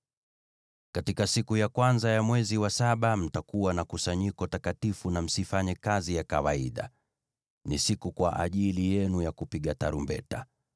“ ‘Katika siku ya kwanza ya mwezi wa saba mtakuwa na kusanyiko takatifu na msifanye kazi ya kawaida. Ni siku kwa ajili yenu ya kupiga tarumbeta.